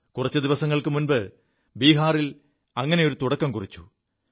കുറച്ചു ദിവസങ്ങൾക്കു മുമ്പ് ബീഹാറിൽ അങ്ങനെയൊരു തുടക്കം കുറിച്ചു